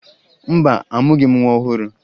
Mba, amụghị m nwa ọhụrụ